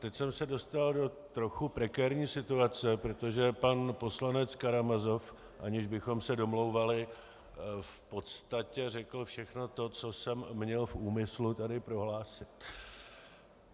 Teď jsem se dostal do trochu prekérní situace, protože pan poslanec Karamazov, aniž bychom se domlouvali, v podstatě řekl všechno to, co jsem měl v úmyslu tady prohlásit.